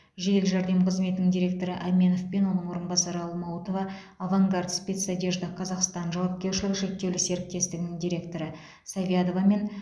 жедел жәрдем қызметінің директоры әменов пен оның орынбасары алмаутова авангард спецодежда казахстан жауапкершілігі шектеулі серіктестігінің директоры савядовамен